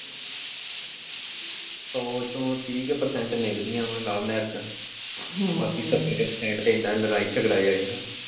ਸੌ ਚੋਂ ਤੀਹ ਕੁ percent ਨਿਭਦੀਆਂ ਵਾਂ ਲਵ ਮੈਰਿਜਾਂ ਬਾਕੀ ਸੱਤਰ ਕੁ percent ਤੇ ਏਦਾਂ ਲੜਾਈ ਝਗੜਾ ਜਿਹਾ ਰਹਿੰਦਾ ਵਾ।